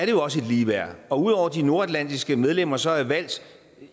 jo også et ligeværd og ud over at de nordatlantiske medlemmer så er valgt